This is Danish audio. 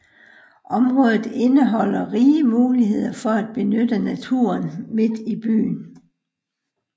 Området indeholder rige muligheder for at benytte naturen midt i byen